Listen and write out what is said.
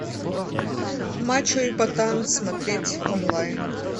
мачо и ботан смотреть онлайн